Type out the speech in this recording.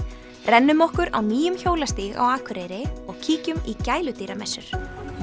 rennum okkur á nýjum hjólastíg á Akureyri og kíkjum í gæludýramessur